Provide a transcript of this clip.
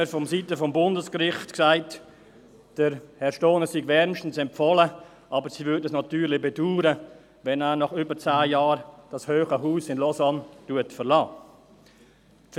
Vonseiten des Bundesgerichts hat man mir gesagt, Herr Stohner sei wärmstens empfohlen, aber sie würden es natürlich bedauern, wenn er das hohe Haus in Lausanne nach über zehn Jahren verlassen würde.